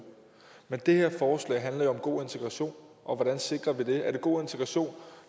men det her forslag handler jo om god integration og hvordan sikrer vi det er det god integration